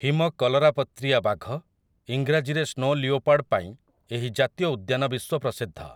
ହିମ କଲରାପତ୍ରିଆ ବାଘ, ଈଂରାଜୀରେ ସ୍ନୋ ଲେଓପାଡ୍, ପାଇଁ ଏହି ଜାତୀୟ ଉଦ୍ୟାନ ବିଶ୍ୱ ପ୍ରସିଦ୍ଧ ।